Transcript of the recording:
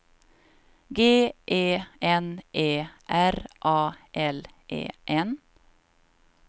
G E N E R A L E N